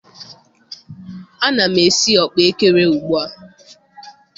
Ana m esi ọkpaekere ugbua.